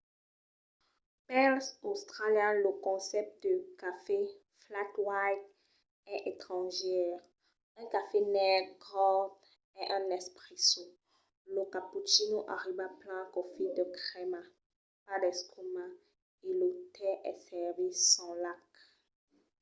pels australians lo concèpte de cafè 'flat white' es estrangièr. un cafè negre cort es un 'espresso' lo cappuccino arriba plan claufit de crèma pas d'escuma e lo tè es servit sens lach